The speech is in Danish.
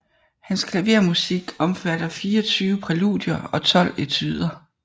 Hans klavermusik omfatter fireogtyve præludier og tolv etuder